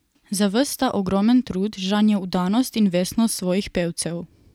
Za ves ta ogromen trud žanje vdanost in vestnost svojih pevcev.